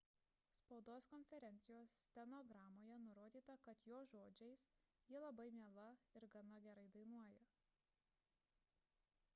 spaudos konferencijos stenogramoje nurodyta kad jo žodžiais ji labai miela ir gana gerai dainuoja